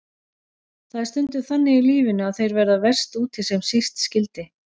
Það er stundum þannig í lífinu að þeir verða verst úti sem síst skyldi.